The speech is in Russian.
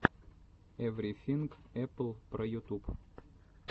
эврифинг эппл про ютуб